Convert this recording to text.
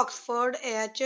Oxford ਏਚ